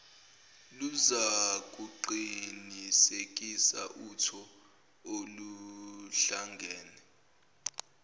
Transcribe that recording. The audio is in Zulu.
luzakuqinisekisa utho oluhlangene